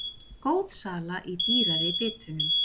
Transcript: Góð sala í dýrari bitunum